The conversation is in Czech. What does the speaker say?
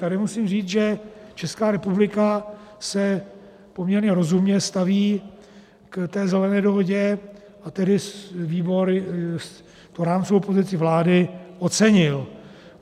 - Tady musím říct, že Česká republika se poměrně rozumně staví k té Zelené dohodě, a tedy výbor tu rámcovou pozici vlády ocenil.